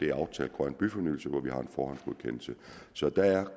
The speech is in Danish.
er aftalt grøn byfornyelse og hvor vi har en forhåndsgodkendelse så der er